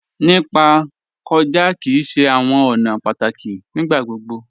Nípa kọja kí í ṣè àwọn ọ̀nà pátákí nígbàgbogbo.